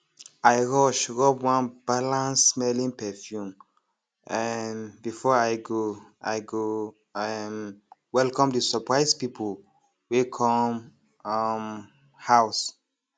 i rush rub one balancedsmelling perfume um before i go i go um welcome the surprise people wey come um house